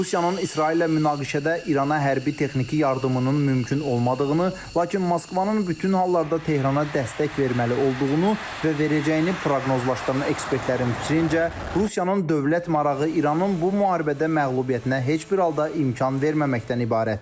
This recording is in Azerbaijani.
Rusiyanın İsraillə münaqişədə İrana hərbi-texniki yardımının mümkün olmadığını, lakin Moskvanın bütün hallarda Tehrana dəstək verməli olduğunu və verəcəyini proqnozlaşdıran ekspertlərin düşüncə, Rusiyanın dövlət marağı İranın bu müharibədə məğlubiyyətinə heç bir halda imkan verməməkdən ibarətdir.